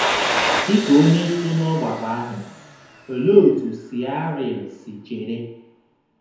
Dị ka onye so n'ọgbakọ ahụ, olee otú Siaril si chere?